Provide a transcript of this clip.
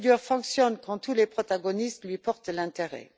La procédure fonctionne quand tous les protagonistes lui portent de l'intérêt.